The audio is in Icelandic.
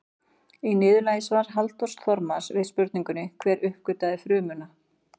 Í niðurlagi svars Halldórs Þormars við spurningunni Hver uppgötvaði frumuna?